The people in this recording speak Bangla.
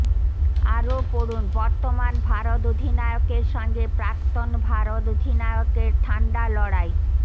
আরও পড়ুন বর্তমান ভারত অধিনায়কের সঙ্গে প্রাক্তন ভারত অধিনায়কের ঠান্ডা লড়াই